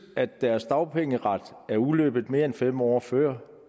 at deres dagpengeret er udløbet mere end fem år før